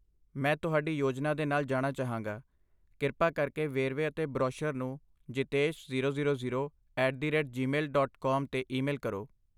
ਮੈਂ ਤੁਹਾਡੀ ਯੋਜਨਾ ਦੇ ਨਾਲ ਜਾਣਾ ਚਾਹਾਂਗਾ, ਕਿਰਪਾ ਕਰਕੇ ਵੇਰਵੇ ਅਤੇ ਬਰੋਸ਼ਰ ਨੂੰ Jitesh zero zero zero at the rate gmail dot com 'ਤੇ ਈਮੇਲ ਕਰੋ